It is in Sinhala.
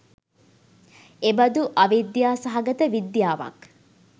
එබඳු අවිද්‍යා සහගත විද්‍යාවක්